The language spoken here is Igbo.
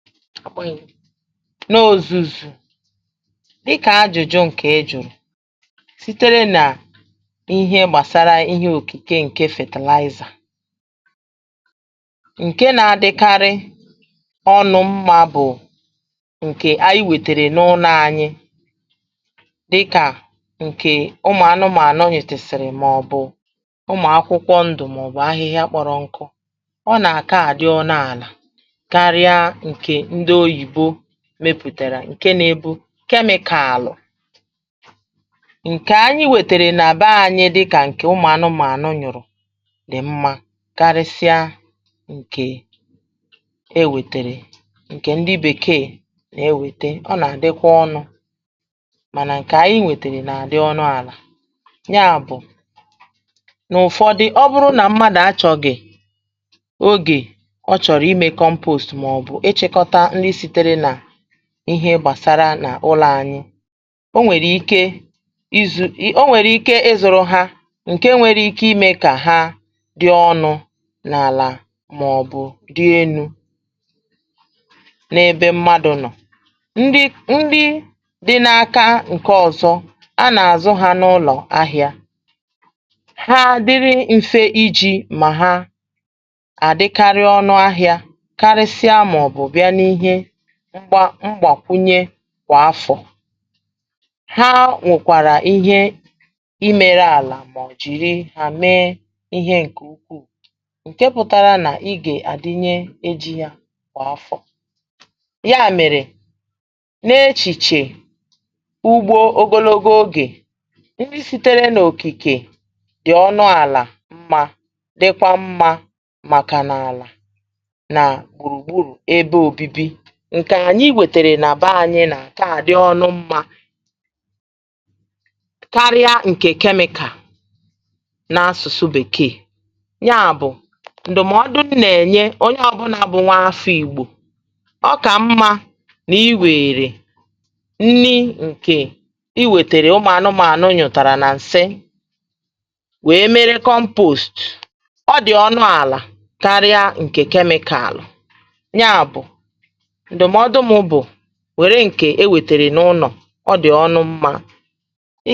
N’òzù ùzù dịkà ajụ̀jụ ǹkè e jùrù sitere nà ihe gbàsara ihe òkìke ǹke fertilizer, ǹke nȧ-adịkarị ọnụ mmȧ bụ̀ ǹkè anyị wètèrè n’ụnọ̇ anyị dịkà ǹkè ụmụ̀ anụmȧnụ nyutesiriri màọbụ̀ ụmụ̀ akwụkwọ ndù màọbụ̀ ahịhịa kpọ̀rọ̀ nkọ̇, ọ nà-àkaà dị ọna àlà ǹke nȧ-ėbù chemical ǹkè anyị wètèrè nà bé anyị dịkà ǹkè ụmụ̀anụ̇màànụ nyụ̀rụ̀ dị̀ mmȧ karịsịa ǹkè e wètèrè ǹkè ndị bèkee nà-ewète ọ nà-àdịkwa ọnụ̇ mànà ǹkè anyị wètèrè nà-àdị ọnụ̇ àlà, ya bụ̀ n’ụ̀fọ̇ dị ọ bụrụ nà mmadù achọ̀gị̀ ogè ọ chọ̀rọ̀ imė compost m’ọbu ịchịkọta ndị sitere na ihe ị gbàsara n’ụlọ̀ ànyị. Ọ nwèrè ike izu̇.. ọ nwèrè ike ịzụ̇rụ̇ ha ǹke nwere ike imė kà ha dị̇ ọnụ̇ n’àlà màọ̀bụ̀ dị enu̇, n’ebe mmadụ̀ nọ̀, ndị ndị dị̇ n’aka ǹke ọ̀zọ a nà-àzụ ha n’ụlọ̀ ahịa, ha dịrị mfe iji̇ mà ha àdịkari ọnụ ahịȧ karịsịa màọ̀bụ̀ bia n'ihe mgba mgbàkwunye kwà afọ̀ ha nwèkwàrà ihe imėrė àlà mà ọ̀ jìri hà mee ihe ǹkè ukwuù ǹke pụtara nà i gè àdịnye eji̇ ya kwà afọ̀. Ya mèrè n’echìchè ugbo ogologo ogè ndị sitere n’òkìkè dị̀ ọnụ àlà mma dịkwa mma màkà n’àlà na gburugburu ebe obibi ǹkè ànyị wètèrè nà baa ȧnyị̇ nà àkaà dị ọnụ mmȧ karịa ǹkè chemical n’asụ̀sụ bèkeè nya bụ̀ ǹdụ̀mọdụ nà-ènye onye ọ̀bụlà bụ nwa afọ ìgbò “ọkà mmȧ nà ịwèèrè nni ǹkè i wètèrè ụmụ̀ànụmȧ nyụ́tàrà nà ǹsị wee mere compost ọ dị̀ ọnụ àlà karịa ǹkè chemical” Ya bụ̀ ndụ̀mọdụ m bụ̀ nwere nke e nwetere n’ụlọ̀, ọ dị̀ ọnụ mma.